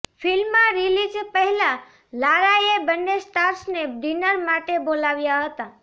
film release પહેલા લારાએ બંને સ્ટાર્સને ડિનર માટે બોલાવ્યા હતા